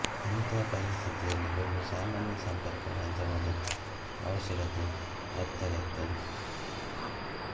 ಇಂಥ ಪರಿಸ್ಥಿತಿಯಲ್ಲಿ ಒಂದು ಸಾಮಾನ್ಯ ಸಂಪರ್ಕ ಮಾಧ್ಯಮದ ಆವಶ್ಯಕತೆ ಅತ್ಯಗತ್ಯ